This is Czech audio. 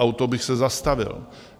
A u toho bych se zastavil.